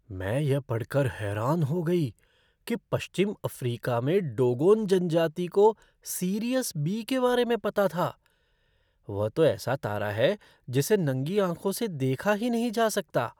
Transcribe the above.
मैं यह पढ़कर हैरान हो गई कि पश्चिम अफ़्रीका में डोगोन जनजाति को सीरियस बी के बारे में पता था। वह तो ऐसा तारा है जिसे नंगी आँखों से देखा ही नहीं जा सकता।